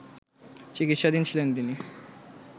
চিকিৎসাধীন ছিলেন তিনি